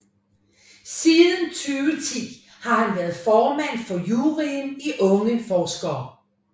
Siden 2010 har han været formand for juryen i Unge Forskere